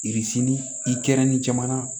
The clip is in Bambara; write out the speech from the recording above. i kɛrɛ ni jamana